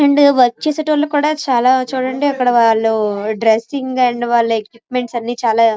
and work చేసేటి వాళ్ళు కూడా చాలా చూడండి అక్కడ వాళ్లు డ్రెస్సింగ్ అండ్ వాళ్లు ఎక్విప్మెంట్స్ చాలా--